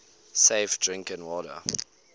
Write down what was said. safe drinking water